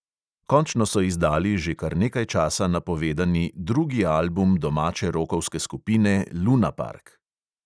Končno so izdali že kar nekaj časa napovedani drugi album domače rokovske skupine lunapark.